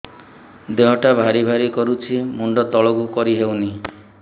ଦେହଟା ଭାରି ଭାରି କରୁଛି ମୁଣ୍ଡ ତଳକୁ କରି ହେଉନି